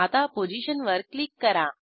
आता पोझिशनवर क्लिक करा